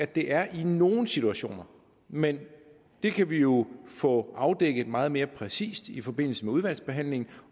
det er i nogle situationer men det kan vi jo få afdækket meget mere præcist i forbindelse med udvalgsbehandlingen